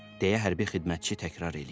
deyə hərbi xidmətçi təkrar eləyir.